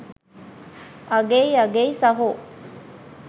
අගෙයි අගෙයි සහෝ